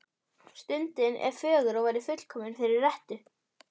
Stundin er fögur og væri fullkomin fyrir rettu.